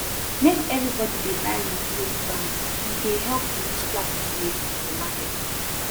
make everybodi dey buy reusable bags e dey help reduce plastic waste for market